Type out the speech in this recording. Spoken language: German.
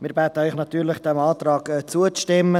Wir bitten Sie natürlich, diesem Antrag zuzustimmen.